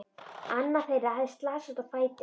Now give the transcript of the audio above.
Annar þeirra hafði slasast á fæti.